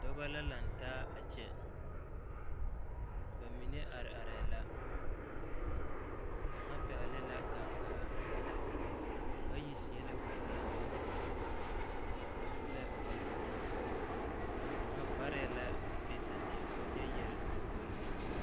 Dɔbɔ la laŋ taa kyɛ ba mine ate arɛɛ la kaŋa pɛgle la kaŋgaa bayi seɛ la kurilama ba su la kpare bilii ka varɛɛ la be saseɛ poɔ kyɛ yare datolite.